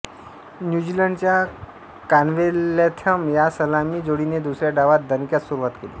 न्यूझीलंडच्या कॉन्वेलॅथम या सलामी जोडीने दुसऱ्या डावात दणक्यात सुरुवात केली